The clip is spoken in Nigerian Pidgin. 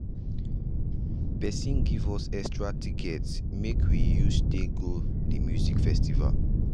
person give us extra tickets wey we use take go the music festival.